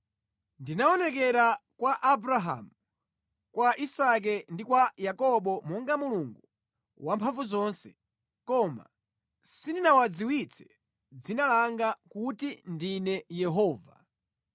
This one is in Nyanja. Ndinaonekera kwa Abrahamu, kwa Isake ndi kwa Yakobo monga Mulungu Wamphamvuzonse, koma sindinawadziwitse dzina langa kuti ndine Yehova.